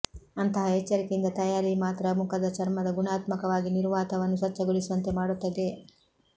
ಅಂತಹ ಎಚ್ಚರಿಕೆಯಿಂದ ತಯಾರಿ ಮಾತ್ರ ಮುಖದ ಚರ್ಮದ ಗುಣಾತ್ಮಕವಾಗಿ ನಿರ್ವಾತವನ್ನು ಸ್ವಚ್ಛಗೊಳಿಸುವಂತೆ ಮಾಡುತ್ತದೆ